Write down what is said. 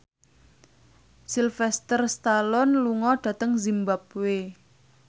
Sylvester Stallone lunga dhateng zimbabwe